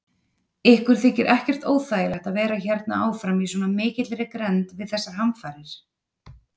Ykkur þykir ekkert óþægilegt að vera hérna áfram í svona mikilli grennd við þessar hamfarir?